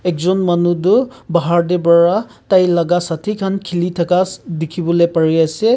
ekjon manu tu bahar teh para tai laga sathi khan kheli thaka dikhi bole pari ase.